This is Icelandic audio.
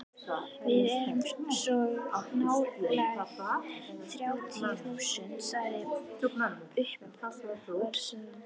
Við erum svo nálægt þrjátíu þúsundunum, sagði uppboðshaldarinn.